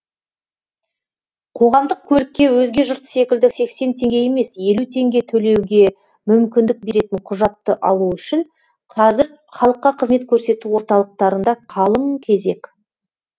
қоғамдық көлікке өзге жұрт секілді сексен теңге емес елу теңге төлеуге мүмкіндік беретін құжатты алу үшін қазір халыққа қызмет көрсету орталықтарында қалың кезек